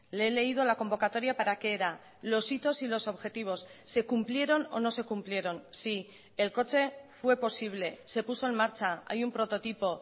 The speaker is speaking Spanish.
le he leído la convocatoria para qué era los hitos y los objetivos se cumplieron o no se cumplieron sí el coche fue posible se puso en marcha hay un prototipo